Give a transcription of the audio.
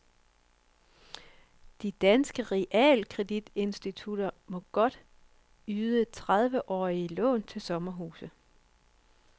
De danske realkreditinstitutter må godt yde trediveårige lån til sommerhuse.